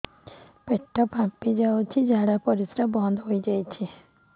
ପେଟ ଫାମ୍ପି ଯାଇଛି ଝାଡ଼ା ପରିସ୍ରା ବନ୍ଦ ହେଇଯାଇଛି